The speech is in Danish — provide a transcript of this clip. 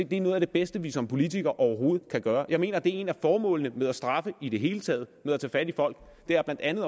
det er noget af det bedste vi som politikere overhovedet kan gøre jeg mener at et af formålene med at straffe i det hele taget og ved at tage fat i folk blandt andet